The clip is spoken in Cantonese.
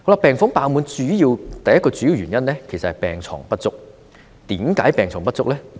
病房爆滿的第一個主要原因，其實是病床不足，為何病床不足呢？